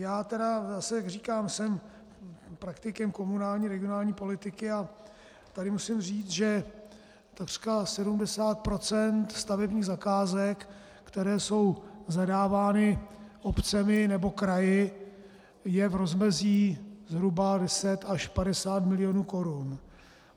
Já tedy zase, jak říkám, jsem praktikem komunální regionální politiky a tady musím říct, že takřka 70 % stavebních zakázek, které jsou zadávány obcemi nebo kraji, je v rozmezí zhruba 10 až 50 milionů korun.